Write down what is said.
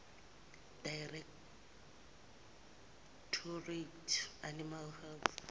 directorate animal health